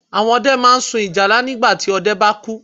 Àwọn ọdẹ máa n sun ìjálá nígbàti ọdẹ bá kú